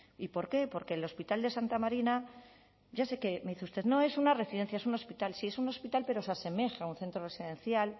y por qué porque el hospital de santa marina ya sé que me dice usted no es una residencia es un hospital sí es un hospital pero se asemeja a un centro residencial